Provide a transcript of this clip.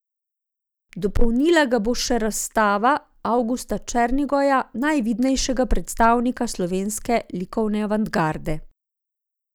Dopolnila ga bo še razstava del Avgusta Černigoja, najvidnejšega predstavnika sloveske likovne avantgarde.